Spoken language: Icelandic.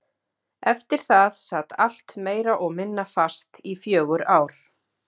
Eftir það sat allt meira og minna fast í fjögur ár.